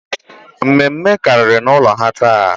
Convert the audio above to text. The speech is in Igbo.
Mme mme kàrìrì n'ụlọ ha taa